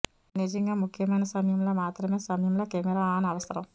ఇది నిజంగా ముఖ్యమైన సమయంలో మాత్రమే సమయంలో కెమెరా ఆన్ అవసరం